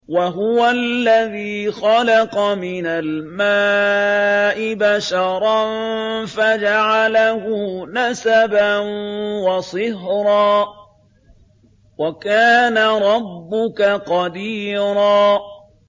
وَهُوَ الَّذِي خَلَقَ مِنَ الْمَاءِ بَشَرًا فَجَعَلَهُ نَسَبًا وَصِهْرًا ۗ وَكَانَ رَبُّكَ قَدِيرًا